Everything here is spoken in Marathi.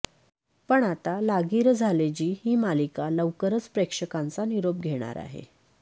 पण आता लागिरं झाले जी ही मालिका लवकरच प्रेक्षकांचा निरोप घेणार आहे